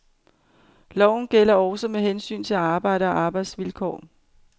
Loven gælder også med hensyn til arbejde og arbejdsvilkår.